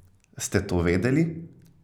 Ste to vedeli?